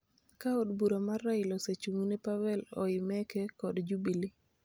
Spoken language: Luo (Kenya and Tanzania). ka od bura mar Raila osechung'ne Pavel Oimeke kod Jubili